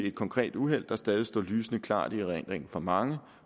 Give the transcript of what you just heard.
et konkret uheld der stadig står lysende klart i erindringen for mange